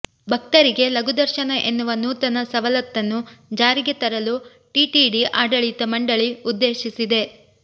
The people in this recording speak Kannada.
ಭಕ್ತರಿಗೆ ಲಘು ದರ್ಶನ ಎನ್ನುವ ನೂತನ ಸವಲತ್ತನ್ನು ಜಾರಿಗೆ ತರಲು ಟಿಟಿಡಿ ಆಡಳಿತ ಮಂಡಳಿ ಉದ್ದೇಶಿಸಿದೆ